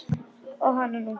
Og hananú!